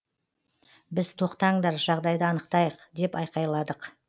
біз тоқтаңдар жағдайды анықтайық деп айқайладық